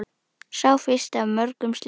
Sá fyrsti af mörgum slíkum.